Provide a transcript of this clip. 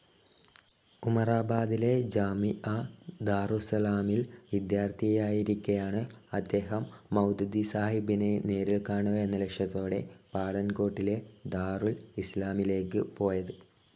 ഉമറാബാദിലെ ജാമിഅ ദാറുസ്സലാമിൽ വിദ്യാർഥിയായിരിക്കെയാണ് അദ്ദേഹം മൗദൂദിസാഹബിനെ നേരിൽ കാണുക എന്ന ലക്ഷ്യത്തോടെ പഠാൻകോട്ടിലെ ദാറുൽ ഇസ്‌ലാമിലേക്ക് പോയത്.